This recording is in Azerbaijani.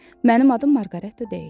Mənim adım Marqareta deyil.